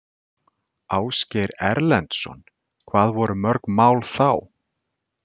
Ásgeir Erlendsson: Hvað voru mörg mál þá?